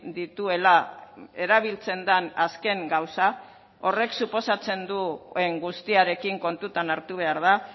dituela erabiltzen den azken gauza horrek suposatzen duen guztiarekin kontutan hartu behar da